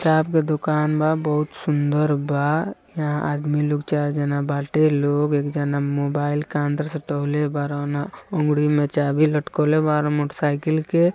यहां पे चाप के दुकान बा बहुत सुंदर बा यहां आदमी लोग चार जना बाटे लोग एक जना मोबाइल का अंदर से उंगली में चाबी लटकोले बा मोटरसाइकिल के |